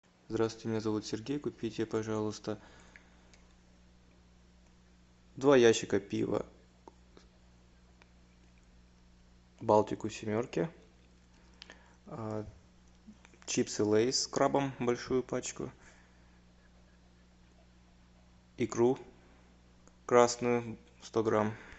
здравствуйте меня зовут сергей купите пожалуйста два ящика пива балтику семерки чипсы лейс с крабом большую пачку икру красную сто грамм